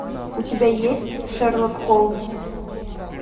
у тебя есть шерлок холмс